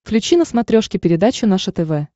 включи на смотрешке передачу наше тв